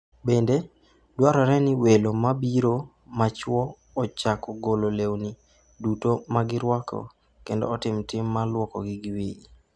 Bende, dwarore ni welo mobiro ma chwo ochako golo lewni duto ma girwako kendo otim tim ma lwokogi giwegi.